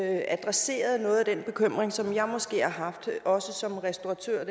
adresserede noget af den bekymring som jeg måske har haft også som restauratør